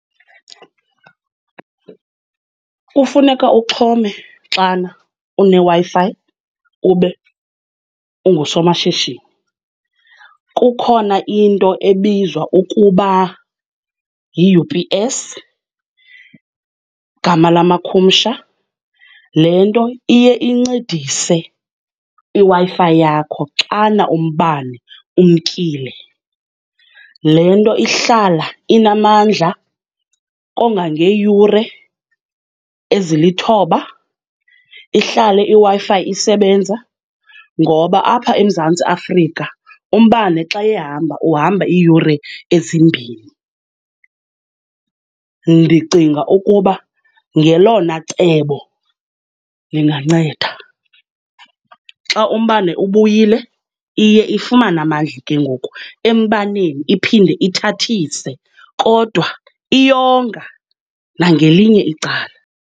Kufuneka uxhome xana uneWi-Fi ube ungusomashishini. Kukhona into ebizwa ukuba yi-U_P_S, gama lamakhusha. Le nto iye incedise iWi-Fi yakho xana umbane umkile. Le nto ihlala inamandla kongangeeyure ezilithoba. Ihlale iWi-Fi isebenza, ngoba apha eMzantsi Afrika umbane xa ehamba uhamba iiyure ezimbini. Ndicinga ukuba ngelona cebo linganceda. Xa umbane ubuyile, iye ifumane amandla ke ngoku embaneni, iphinde ithathise, kodwa iyonga nangelinye icala.